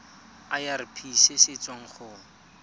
irp se se tswang go